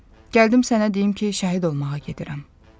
Gəldim sənə deyim ki, şəhid olmağa gedirəm.